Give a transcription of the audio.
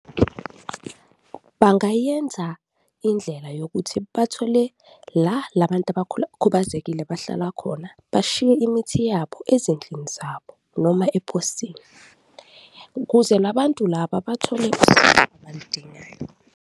Bangayenza indlela yokuthi bathole la la bantu bahlala khona, bashiye imithi yabo ezindlini zabo noma eposini ukuze la bantu laba bathole usizo abaludingayo.